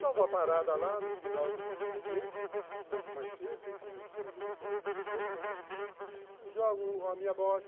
Dou uma parada lá no final do expediente, um pouco mais cedo, enfim, sem muito compromisso, jogo a minha bocha